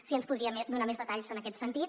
si ens en podria donar més detalls en aquest sentit